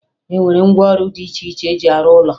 E nwere ngwaọrụ dị iche iche eji arụ ụlọ